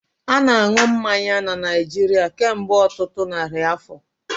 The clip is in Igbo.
A na-eri mmanya na Naijiria kemgbe ọtụtụ narị afọ